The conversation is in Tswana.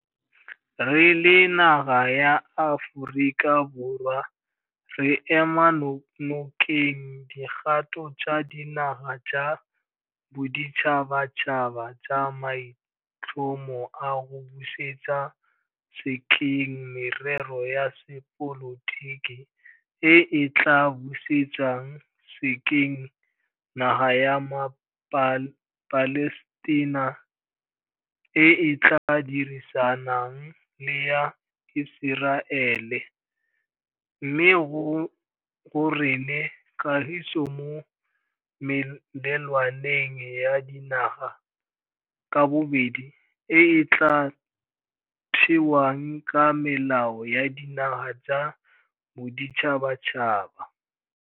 Re le naga ya Aforika Borwa re ema nokeng dikgato tsa dinaga tsa boditšhabatšhaba tsa maitlhomo a go busetsa sekeng merero ya sepolotiki e e tla busetsang sekeng naga ya maPalestina e e tla dirisanang le ya Iseraele, mme go rene kagiso mo melelwaneng ya dinaga ka bobedi e e tla thewang ka melao ya dinaga tsa boditšhabatšhaba.